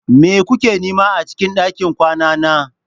Me kuke nema a cikin ɗakin kwana na?